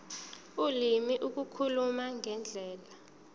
ulimi ukukhuluma ngendlela